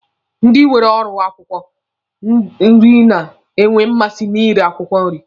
Ndi nwere ọrụ akwụkwọ nri na-enwe mmasị na ire akwụkwọ nri.